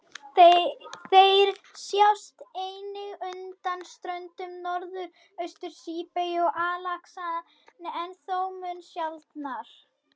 Þeir sjást einnig undan ströndum Norðaustur-Síberíu og Alaska, en þó mun sjaldnar.